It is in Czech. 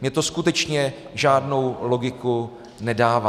Mě to skutečně žádnou logiku nedává.